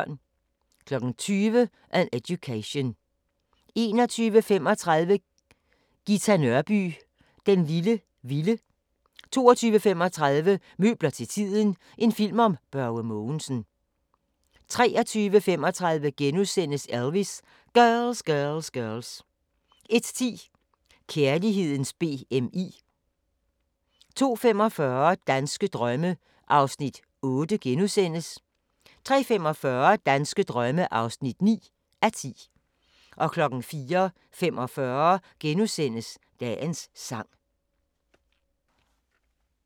20:00: An Education 21:35: Ghita Nørby "Den lille vilde" 22:35: Møbler til tiden – en film om Børge Mogensen 23:35: Elvis: Girls! Girls! Girls! * 01:10: Kærlighedens BMI 02:45: Danske drømme (8:10)* 03:45: Danske drømme (9:10) 04:45: Dagens sang *